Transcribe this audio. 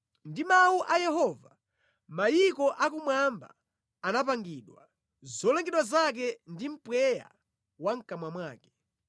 Ndi mawu a Yehova mayiko akumwamba anapangidwa, zolengedwa zake ndi mpweya wa mʼkamwa mwake.